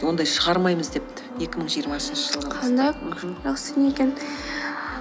ондай шығармаймыз депті екі мың жиырмасыншы жақсы екен